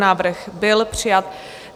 Návrh byl přijat.